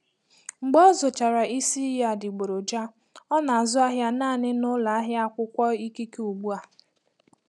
Mgbe ọ zụchara isi iyi adịgboroja, ọ na-azụ ahịa naanị n'ụlọ ahịa akwụkwọ ikike ugbu a.